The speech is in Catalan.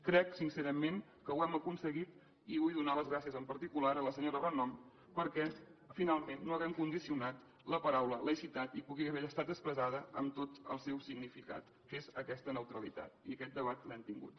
crec sincerament que ho hem aconseguit i vull donar les gràcies en particular a la senyora renom perquè finalment no hàgim condicionat la paraula laïcitat i pugui haver estat expressada amb tot el seu significat que és aquesta neutralitat i aquest debat l’hem tingut